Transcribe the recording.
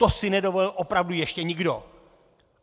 To si nedovolil opravdu ještě nikdo!